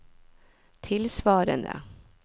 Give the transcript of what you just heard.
tilsvarende